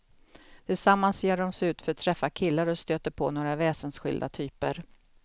Tillsammans ger de sig ut för att träffa killar och stöter på några väsensskilda typer.